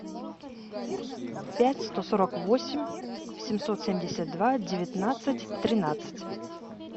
пять сто сорок восемь семьсот семьдесят два девятнадцать тринадцать